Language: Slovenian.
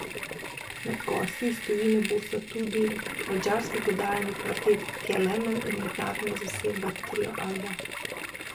Med gosti iz tujine bosta tudi madžarski godalni kvartet Kelemen in mednarodna zasedba Trio Alba.